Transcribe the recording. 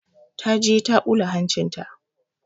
Ta je ta ɓula hancinta.